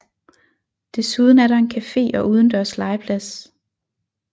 Desuden er der en café og udendørs legeplads